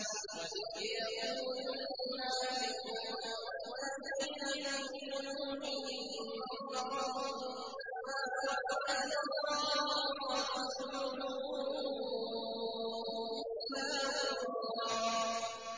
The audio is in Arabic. وَإِذْ يَقُولُ الْمُنَافِقُونَ وَالَّذِينَ فِي قُلُوبِهِم مَّرَضٌ مَّا وَعَدَنَا اللَّهُ وَرَسُولُهُ إِلَّا غُرُورًا